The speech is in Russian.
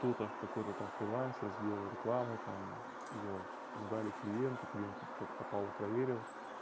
тут аж какой-то там фрилансер сделал рекламу там её сдали клиенту клиент как попало проверил